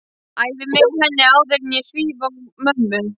Æfi mig á henni áður en ég svíf á mömmu.